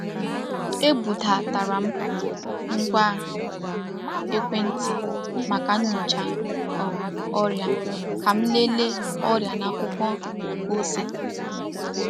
Ebudatara m ngwa um ekwentị maka nyocha um ọrịa ka m lelee ọrịa n’akwụkwọ nke ose.